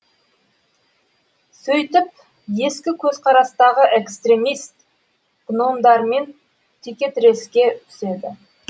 сөйтіп ескі көзқарастағы экстремист гномдармен текетіреске түседі